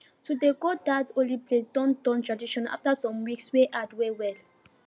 to dey go dat holy place don turn tradition after some weeks wey hard well well